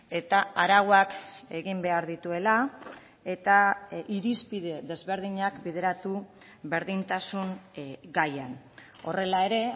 eta arauak egin behar dituela eta irizpide desberdinak bideratu berdintasun gaian horrela ere